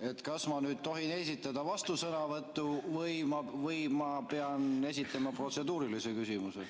siis kas ma tohin esitada vastusõnavõtu või ma pean esitama protseduurilise küsimuse.